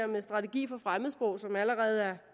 med strategi for fremmedsprog som allerede er